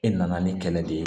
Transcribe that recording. E nana ni kɛlɛ de ye